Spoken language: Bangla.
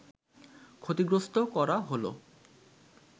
ক্ষতিগ্রস্থ করা হলো